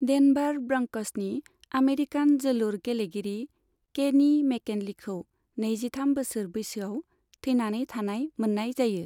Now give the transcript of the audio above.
Denver ब्रंक'सनि American जोलुर गेलेगिरि केनी मेकिन्लेखौ नैजिथाम बोसोर बोसोयाव थैनानै थानाय मोननाय जायो।